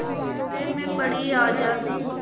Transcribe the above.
खतरे में पड़ी आज़ादी